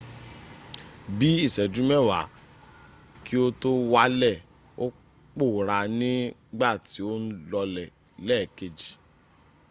bí ìṣẹ́jú mewa kí o tó wàlẹ̀ ò pòorá ní gbà tí o n lọlẹ̀ lẹ́ẹ̀kej